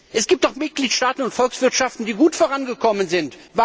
Es gibt auch Mitgliedstaaten und Volkswirtschaften, die gut vorangekommen sind.